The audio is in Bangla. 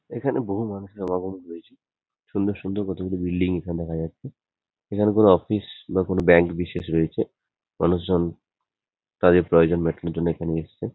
এখানে বহু মানুষের সমাগম হয়েছে। সুন্দর সুন্দর কতগুলি বিল্ডিং এখানে দেখা যাচ্ছে। এখানে কোনো অফিস বা কোনো ব্যাঙ্ক বিশেষ রয়েছে। মানুষজন তাদের প্ৰয়োজন মেটানোর জন্য এখানে এসছে।